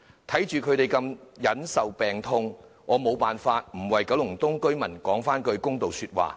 看着他們受病痛之苦，我無法不為九龍東居民說句公道話。